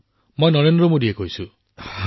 প্ৰধানমন্ত্ৰীঃ এয়া নৰেন্দ্ৰ মোদীয়ে কৈছো